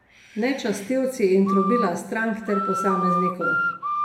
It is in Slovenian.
Ne častilci in trobila strank ter posameznikov.